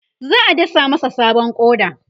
za'a dasa masa sabon ƙoda